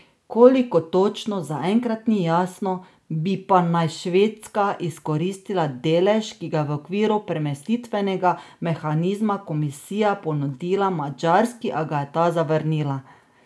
Koliko točno, zaenkrat ni jasno, bi pa naj Švedska izkoristila delež, ki ga je v okviru premestitvenega mehanizma komisija ponudila Madžarski, a ga je ta zavrnila.